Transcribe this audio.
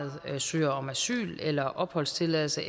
søger om asyl eller opholdstilladelse